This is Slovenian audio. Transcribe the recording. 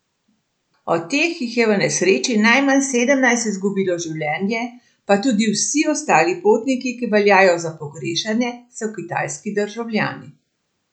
Od teh jih je v nesreči najmanj sedemnajst izgubilo življenje, pa tudi vsi ostali potniki, ki veljajo za pogrešane, so kitajski državljani.